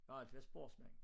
Jeg har altid været sportsmand